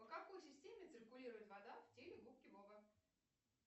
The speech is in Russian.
по какой системе циркулирует вода в теле губки боба